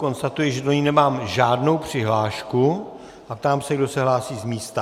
Konstatuji, že do ní nemám žádnou přihlášku, a ptám se, kdo se hlásí z místa.